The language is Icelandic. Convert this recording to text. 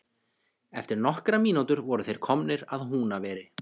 Eftir nokkrar mínútur voru þeir komnir að Húnaveri.